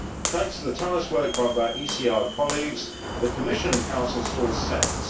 Thanks to the tireless work by my ECR colleagues, the Commission and Council saw sense.